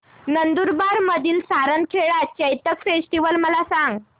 नंदुरबार मधील सारंगखेडा चेतक फेस्टीवल मला सांग